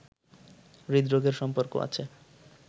হৃদরোগের সম্পর্ক আছে